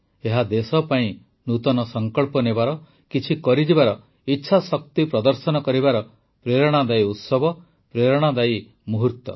ଏହା ଦେଶ ପାଇଁ ନୂତନ ସଂକଳ୍ପ ନେବାର କିଛି କରିଯିବାର ଇଚ୍ଛାଶକ୍ତି ପ୍ରଦର୍ଶନ କରିବାର ପ୍ରେରଣାଦାୟୀ ଉତ୍ସବ ପ୍ରେରଣାଦାୟୀ ମୁହୂର୍ତ୍ତ